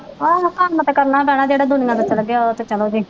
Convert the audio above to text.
ਆਹੋ ਕੰਮ ਤੇ ਕਰਨਾ ਪੈਣਾ ਜਿਹੜਾ ਦੁਨੀਆਂ ਤੋਂ ਚਲੇ ਗਿਆ ਉਹ ਤੇ ਚਲੇ ਗਏ।